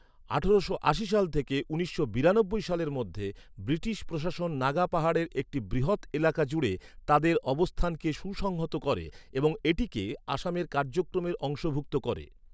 আঠারোশো আশি থেকে উনিশশো বিরানব্বই সালের মধ্যে, ব্রিটিশ প্রশাসন নাগা পাহাড়ের একটি বৃহৎ এলাকা জুড়ে তাদের অবস্থানকে সুসংহত করে এবং এটিকে আসামের কার্যক্রমের অংশভুক্ত করে।